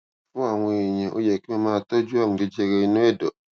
fún àwọn èèyàn ó yẹ kí wón máa tójú àrùn jẹjẹrẹ inú èdò